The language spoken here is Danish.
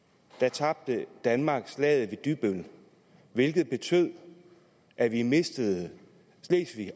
tabte danmark slaget ved dybbøl hvilket betød at vi mistede slesvig